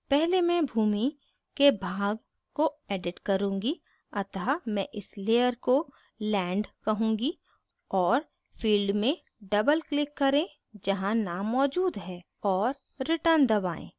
पहले मैं भूमि land के भाग को edit करुँगी अतः मैं इस layer को land कहूँगी और field में double click करें जहाँ name मौजूद है और return दबाएं